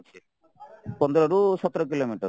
ପନ୍ଦରରୁ ସତର କିଲୋମିଟର